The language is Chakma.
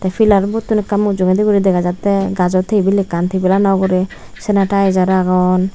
pillar botun ekka mujungedi guri degajattey gajow tabil ekkan tabilanow ugurey sanitijar aagon.